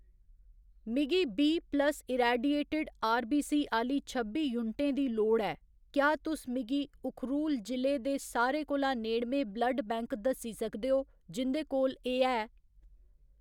मिगी B plus irradiated RBC आह्‌ली छब्बी यूनटें दी लोड़ ऐ, क्या तुस मिगी उखरूल जि'ले दे सारे कोला नेड़मे ब्लड बैंक दस्सी सकदे ओ जिं'दे कोल एह्‌‌ है ?